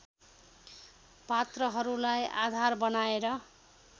पात्रहरूलाई आधार बनाएर